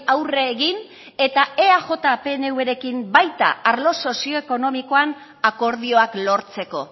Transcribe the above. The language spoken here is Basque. aurre egin eta eaj pnvrekin baita arlo sozioekonomikoan akordioak lortzeko